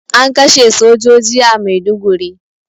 An kashe sojoji a Maiduguri